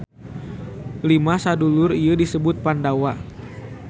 Lima sadulur ieu disebut Pandawa.